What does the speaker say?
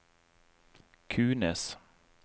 Kunes